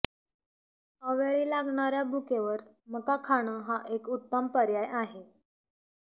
अवेळी लागणार्या भूकेवर मका खाणं हा एक उत्ताम पर्याय आहे